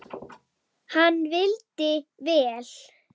Hann vildi vel.